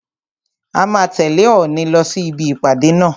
A máa tẹ̀lẹ́ Òòni lọ sí ibi ìpàdé náà.